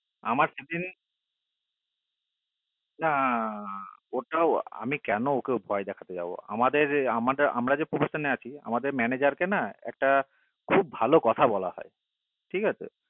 আমার না ওটাও না ওটাও না আমি ওকে কেন ভয় দেখতে যাব আমাদের আমরা ভয় আছি আমাদের manager একটা খুব ভালো কথা বলা হয় ঠিক আসে